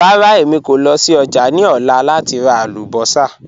Rárá, èmi kò lọ sí ọ́jà̀ ni ọ̀lá láti rà àlùbọ́ṣà.